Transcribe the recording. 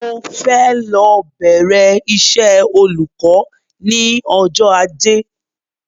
Mo fẹ́ lọ bẹ̀rẹ iṣẹ́ olùkọ́ ní ọjọ́ Ajé